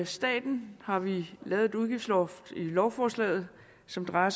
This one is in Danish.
staten har vi lavet et udgiftsloft i lovforslaget som drejer